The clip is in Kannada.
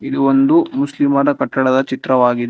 ಇದು ಒಂದು ಮುಸ್ಲಿಮರ ಕಟ್ಟಡದ ಚಿತ್ರವಾಗಿದೆ.